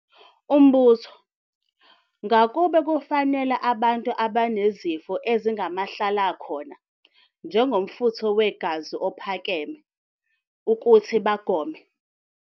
Umbuzo- Ngakube kufanele abantu abanezifo ezingamahlalakhona, njengomfutho wegazi ophakeme, ukuthi bagome?